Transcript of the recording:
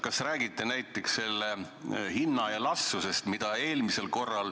Kas räägiti näiteks hinnaelastsusest?